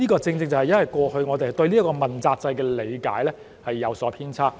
這正正因為過去我們對這個問責制的理解有所偏差。